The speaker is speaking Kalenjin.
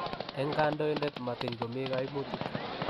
eng kandoinatet matiny komi kaimutik.